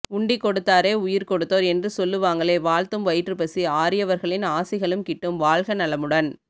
உண்டிக்கொடுத்தோரே உயிர் கொடுத்தோர் என்று சொல்லுவாங்களே வாழ்த்தும் வயிற்றுப்பசி ஆரியவர்களின் ஆசிகளும் கிட்டும் வாழ்க நலமுடன்